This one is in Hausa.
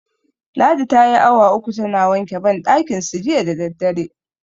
Ladi tayi awa uku tana wanke banɗakinsu jiya da daddare.